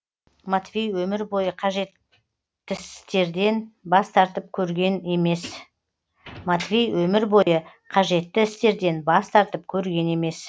матвей өмір бойы қажеттіістерден бас тартып көрген емес